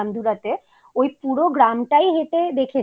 জায়গাটায় যখন ছিলাম রামধুরাতে ওই পুরো গ্রামটাই হেঁটে